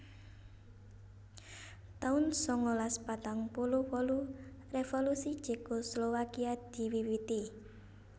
taun sangalas patang puluh wolu Revolusi Cekoslowakia diwiwiti